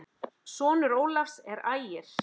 Sonur Ólafs er Ægir.